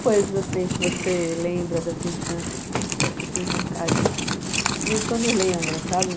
Coisas assim que você lembra da sua infância, assim, que você tem vontade, assim, de... De vez em quando lembra, sabe?